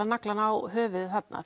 naglann á höfuðið þarna